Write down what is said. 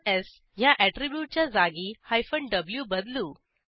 स् ह्या ऍट्रिब्यूटच्या जागी व्ही बदलू